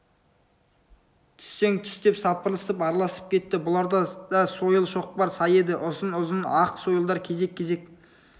түссең түс деп сапырылысып араласып кетті бұларда да сойыл шоқпар сай еді ұзын-ұзын ақ сойылдар кезек-кезек